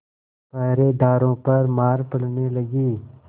पहरेदारों पर मार पड़ने लगी